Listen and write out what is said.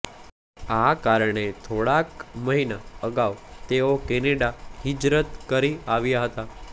આ કારણે થોડાક મહિના અગાઉ તેઓ કેનેડા હિજરત કરી આવ્યા હતાં